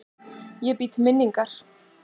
Ég bý til minningar.